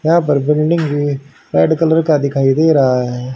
यहां पर बिल्डिंग भी रेड कलर का दिखाई दे रहा है।